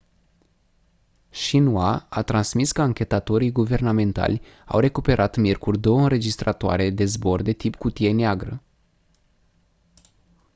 xinhua a transmis că anchetatorii guvernamentali au recuperat miercuri două înregistratoare de zbor de tip cutie neagră